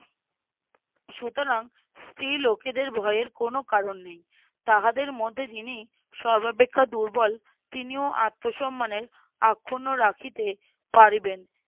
সুতরাং স্ত্রী লোকেদের ভয়ের কোনো কারণ নেই। তাহাদের মধ্যে যিনি সর্বাপেক্ষা দুর্বল তিনিও আত্মসম্মানের আক্ষুন্ন রাখিতে পারিবেন